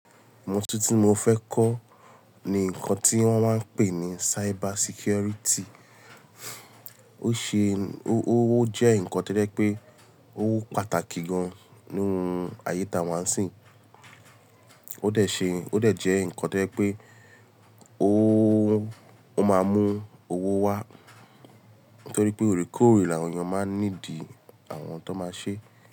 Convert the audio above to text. Ohun tí mo fẹ́ kọ́ ni nǹkan tí wọ́n máa ń pè ní cyber security. Which in, o jẹ́ nǹkan tó jẹ́ pé ó pàtàkì gan-an nínú ayé táwà ń sí. Ó dẹ̀ ṣe, ó dẹ̀ jẹ́ nǹkan to jẹ pé ó, ó máa mú owó wá torí pé òrèkóòrè làwọn èèyàn máa ń need àwọn tó máa ṣe.